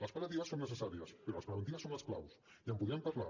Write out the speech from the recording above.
les pal·liatives són necessàries però les preventives són les clau i en podríem parlar